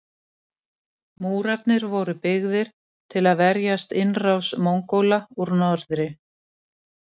Múrarnir voru byggðir til að verjast innrás Mongóla úr norðri.